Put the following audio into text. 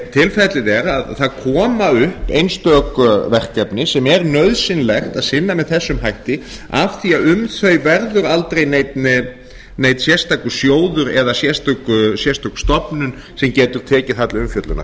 tilfellið er að það koma upp einstök verkefni sem er nauðsynlegt að sinna með þessum hætti af því um þau verður aldrei neinn sérstakur sjóður eða sérstök stofnun sem getur tekið það til umfjöllunar